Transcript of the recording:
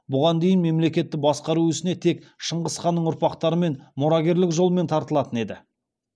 бұған дейін мемлекетті басқару ісіне тек шыңғыс ханның ұрпақтары мұрагерлік жолмен тартылатын еді